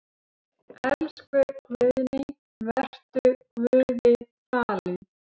Elsku Guðný, vertu Guði falin.